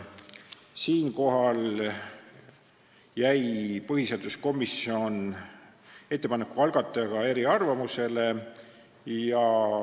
Siinkohal jäi põhiseaduskomisjon ettepaneku algatajaga eriarvamusele.